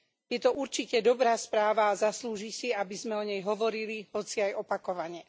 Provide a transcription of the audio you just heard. Je to určite dobrá správa a zaslúži si, aby sme o nej hovorili, hoci aj opakovane.